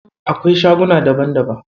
Akwai shaguna daban daban.